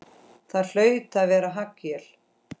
Það hlaut að vera haglél!